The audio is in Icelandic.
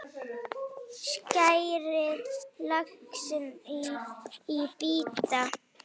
Skerið laxinn í bita.